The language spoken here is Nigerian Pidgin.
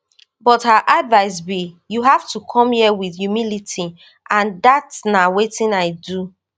but her advice be you have to come here wit humility and dat na wetin i do